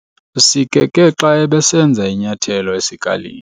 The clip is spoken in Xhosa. Usikeke xa ebesenza inyathelo esikalini.